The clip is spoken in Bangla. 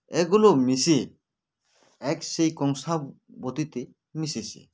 এগুলো মিশে এক সেই কংসাবতীতে মিশেছে